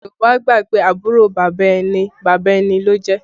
Yorùbá gbà pé àbúrò bàbá ẹni, bàbá ẹni ló jẹ́